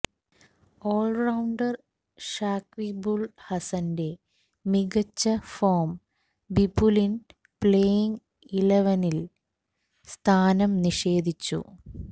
all rounder ഷാക്വിബുല് ഹസന്റെ മികച്ച form ബിപുലിന് playing ഇലവനില് സ്ഥാനം നിഷേധിച്ചു